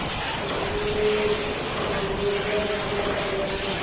पंचो ने इस मामले पर विचार किया